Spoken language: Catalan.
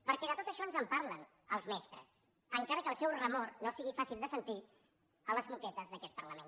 perquè de tot això ens en parlen els mestres encara que el seu remor no sigui fàcil de sentir a les moquetes d’aquest parlament